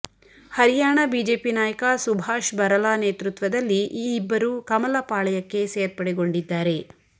Haryana BJP ನಾಯಕ ಸುಭಾಶ್ ಬರಲಾ ನೇತೃತ್ವದಲ್ಲಿ ಈ ಇಬ್ಬರು ಕಮಲ ಪಾಳಯಕ್ಕೆ ಸೇರ್ಪಡೆಗೊಂಡಿದ್ದಾರೆ